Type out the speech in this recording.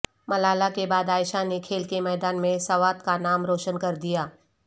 ملالہ کے بعد عائشہ نے کھیل کے میدان میں سوات کا نام روشن کر دیا